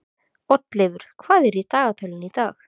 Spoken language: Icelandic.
Oddleifur, hvað er í dagatalinu í dag?